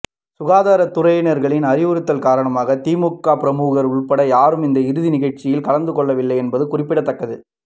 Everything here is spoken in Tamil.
சுகாதாரத்துறையினர்களின் அறிவுறுத்தல் காரணமாக திமுக பிரமுகர்கள் உள்பட யாரும் இந்த இறுதி நிகழ்ச்சியில் கலந்து கொள்ளவில்லை என்பது குறிப்பிடத்தக்கது